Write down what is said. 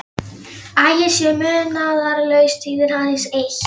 að ég sé munaðarlaus þýðir aðeins eitt.